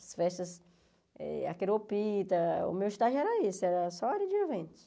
As festas, eh a queropita, o meu estágio era isso, era só área de eventos.